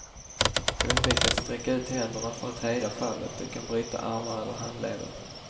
Undvik att sträcka ut händerna för att hejda fallet, du kan bryta armar eller handleder.